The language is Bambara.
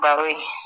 Baro ye